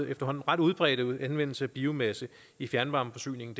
efterhånden ret udbredte anvendelse af biomasse i fjernvarmeforsyningen